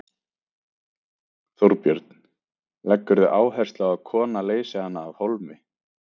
Þorbjörn: Leggurðu áherslu á að kona leysi hana af hólmi?